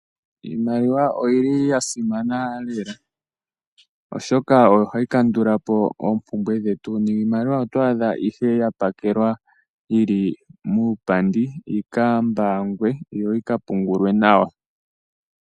Iimaliwa oyili ya simana lela oshoka oyo hayi kandulapo oompumbwe dhetu niimaliwa oto adha ihe ya pakelwa yili muupandi yika mbangwe yo yika pungulwe nawa.